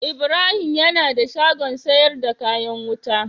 Ibrahim yana da shagon sayar da kayan wuta.